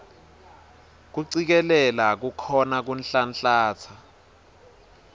kucikelela kukhona kuhlanhlatsa